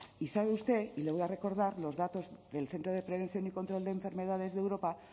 y sabe usted y le voy a recordar los datos del centro de prevención y control de enfermedades de europa